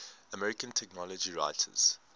american technology writers